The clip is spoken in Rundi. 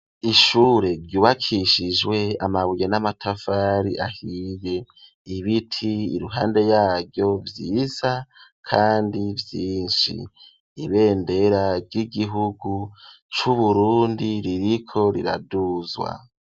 Ishure ryubakishijwe amabuye n'amatafari ahiye, ibiti iruhande yaryo vyiza kandi vyinshi ,ibendera ry'igihugu c'Uburundi ririko riraduzwa.